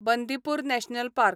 Bandipur national park